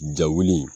Ja wuli